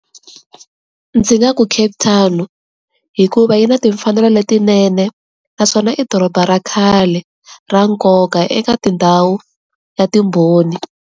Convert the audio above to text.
Ndzi nga ku Cape Town. Hikuva yi na timfanelo letinene, naswona i doroba ra khale, ra nkoka eka tindhawu, ya timbhoni.